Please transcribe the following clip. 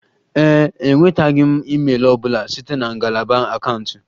Ee e, enwetaghị m email ọ bụla site na ngalaba akaụntụ